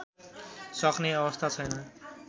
सक्ने अवस्था छैन